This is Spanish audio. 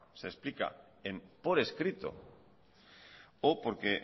se explica en por escrito o porque